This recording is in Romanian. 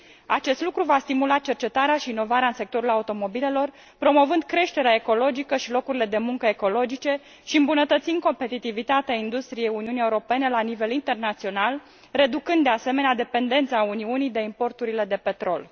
Acest lucru va stimula cercetarea și inovarea în sectorul automobilelor, promovând creșterea ecologică și locurile de muncă ecologice și îmbunătățind competitivitatea industriei Uniunii Europene la nivel internațional, reducând, de asemenea, dependența Uniunii de importurile de petrol.